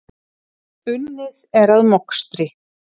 Unnið er að mokstri.